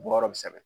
Bɔ yɔrɔ bɛ sɛbɛn